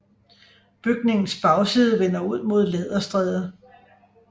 Bygningens bagside vender ud mod Læderstræde